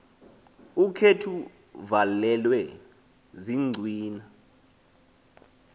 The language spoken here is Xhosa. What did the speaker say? ukhethw uvalelwe ziincwina